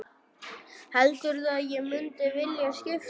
Heldurðu að ég mundi vilja skipta?